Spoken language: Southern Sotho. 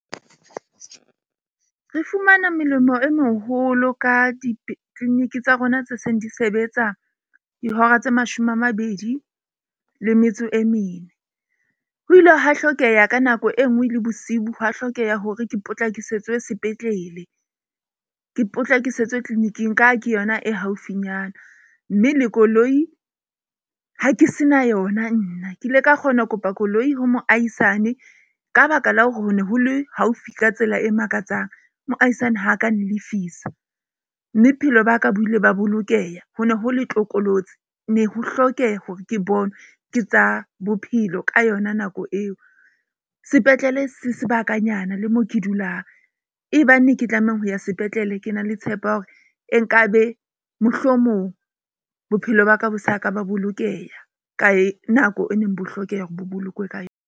Re fumana melemo e meholo ka di-clinic tsa rona tse seng di sebetsa dihora tse mashome a mabedi le metso e mene. Ho ile hwa hlokeha ka nako e nngwe le bosibu. Ho a hlokeha hore ke potlakisetswe sepetlele ke potlakisetswe clinic-ing ka ha ke yona e haufinyana. Mme le koloi ha ke se na yona, nna. Ke ile ka kgona ho kopa koloi ho moahisane, ka baka la hore ho ne ho le haufi ka tsela e makatsang, moahisane ha ka a nlefisa. Mme bophelo baka bo ile ba bolokeha. Ho ne ho le tlokolotsi ne ho hlokeha hore ke bonwe ke tsa bophelo ka yona nako eo. Sepetlele se sebakanyana le moo ke dulang. E bang e ke tlamehang ho ya sepetlele, ke na le tshepo ya hore e nkabe mohlomong bophelo baka bo saka ba bolokeha kae nako e neng bo hlokeha hore bo bolokwe ka .